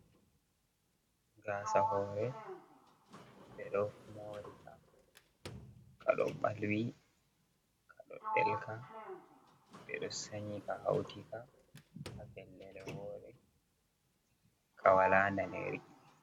"Gasa hore" Ɓe ɗo morika ka ɗo ɓalwi ka ɗo delka ɓe ɗo sanyika hautika ha fellere wore kawaladaneri.